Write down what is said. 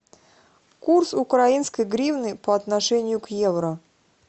курс украинской гривны по отношению к евро